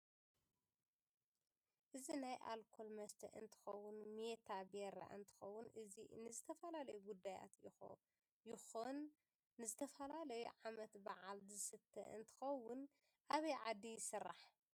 እዚ ናይ አልኮል መሰተ እንትከዉን ሜታ ቢራ እንትከውን እዚ ንዝተፈላለዩ ጉዳያት ይኩን ንዝተፈላለዩ ዓመት ባዓል ዝስተ እንትከውን አበይ ዓዲ ይስራሕ?